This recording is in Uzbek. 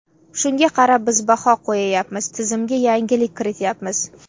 Shunga qarab, biz baho qo‘yayapmiz, tizimga yangilik kirityapmiz.